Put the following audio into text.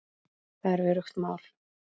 Það er öruggt mál.